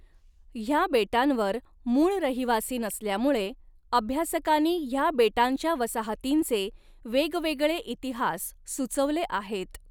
ह्या बेटांवर मूळ रहिवासी नसल्यामुळे अभ्यासकांनी ह्या बेटांच्या वसाहतींचे वेगवेगळे इतिहास सुचवले आहेत.